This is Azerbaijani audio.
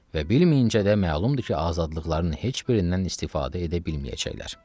Və bilməyincə də məlumdur ki, azadlıqların heç birindən istifadə edə bilməyəcəklər.